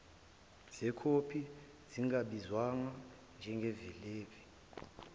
zekhophi zingabizwa njengelevi